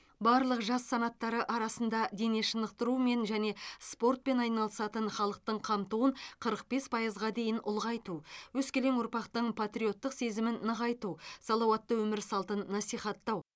барлық жас санаттары арасында дене шынықтырумен және спортпен айналысатын халықтың қамтуын қырық бес пайызға дейін ұлғайту өскелең ұрпақтың патриоттық сезімін нығайту салауатты өмір салтын насихаттау